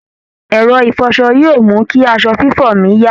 Ẹ̀rọ ìfọṣọ yóò mú kí aṣọ fífọ̀ mí yá